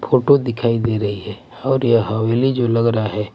Photo दिखाई दे रही है और यह हवेली जो लग रहा है।